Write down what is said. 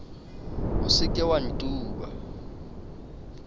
o se ke wa ntuba